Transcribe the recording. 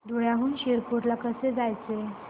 धुळ्याहून शिरपूर ला कसे जायचे